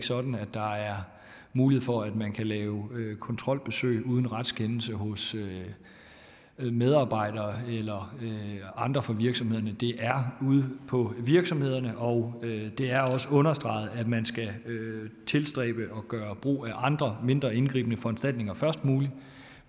sådan at der er mulighed for at man kan lave kontrolbesøg uden retskendelse hos medarbejdere eller andre fra virksomheden det er ude på virksomhederne og det er også understreget at man skal tilstræbe at gøre brug af andre mindre indgribende foranstaltninger først